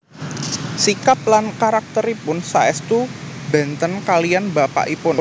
Sikap lan karakteripun saèstu benten kaliyan bapakipun